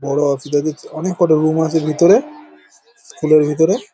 বড়ো অনেকটা রুম আছে ভিতরে স্কুল এর ভিতরে ।